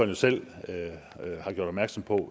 jo selv har gjort opmærksom på